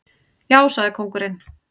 Já, sagði kóngurinn.